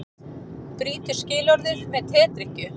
Brýtur skilorðið með tedrykkju